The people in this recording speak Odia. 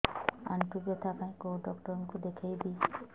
ଆଣ୍ଠୁ ବ୍ୟଥା ପାଇଁ କୋଉ ଡକ୍ଟର ଙ୍କୁ ଦେଖେଇବି